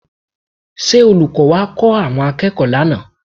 Ṣé olùkọ́ wá kọ́ àwọn akẹ́kọ̀ọ́ lánàá?